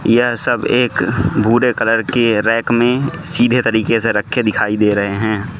यह सब एक भूरे कलर के रैक मे सीधे तरीके से रखे दिखाई दे रहे हैं।